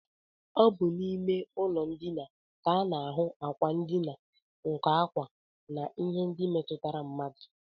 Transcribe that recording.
Ọ bụ n'ime ụlọndina ka a na-ahụ ákwà ndina, nkọ ákwá, na ihe ndị ọzọ metụtara mmadụ